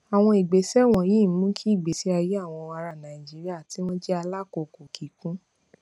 àwọn ìgbésẹ wònyí ń mú kí ìgbésí ayé àwọn ará nàìjíríà tí wọn jé alákòókò kíkún